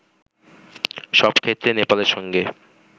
সব ক্ষেত্রে নেপালের সঙ্গে